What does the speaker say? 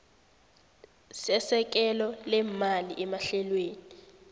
sesekelo leemali emahlelweni